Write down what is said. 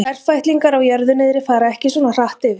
Ferfætlingar á jörðu niðri fara ekki svona hratt yfir.